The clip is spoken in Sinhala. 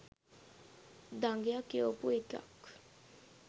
දඟයා කියවපු එකක්